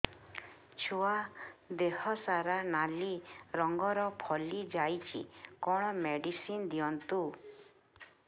ଛୁଆ ଦେହ ସାରା ନାଲି ରଙ୍ଗର ଫଳି ଯାଇଛି କଣ ମେଡିସିନ ଦିଅନ୍ତୁ